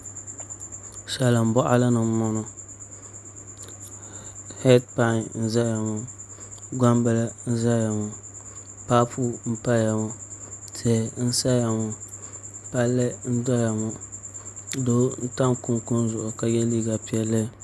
Salin boɣali ni n boŋo heed pai n ʒɛya ŋo gbambili n ʒɛya ŋo paapu n paya ŋo tihi n saya ŋo palli n doya ŋo doo n tam kunkun zuɣu ka yɛ liiga piɛlli